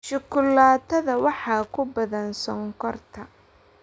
Shukulaatada waxaa ku badan sonkorta.